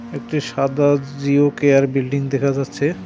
একটি সাদা Jio care building দেখা যাচ্ছে।